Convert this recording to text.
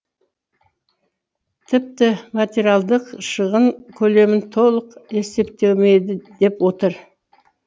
тіпті материалдық шығын көлемі толық есептелмеді деп отыр